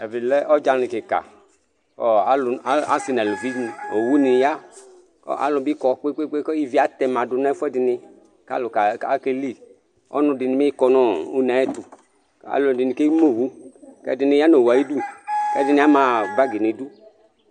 ivilɛ ɔdzani kïkă ɔ alʊ a assi n'alʊvini owu ni ya ɔ alʊbi kɔ kpekpe ku ivi atɛma du nɛfuɛ dini kalʊ ka akeli ɔnʊdini kɔnɔ ũneatũ ɛlʊdini kémũ owũ k'ɛdïnï ya nũ owũ ayidũ kɛdini ama bagi nidũ